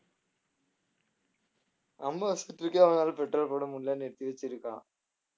அம்பாசிடருக்கே அவனால பெட்ரோல் போட முடியல நிறுத்தி வச்சிருக்கான்